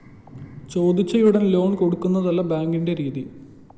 ചോദിച്ചയുടന്‍ loan കൊടുക്കുന്നതല്ല ബാങ്കിന്റെ രീതി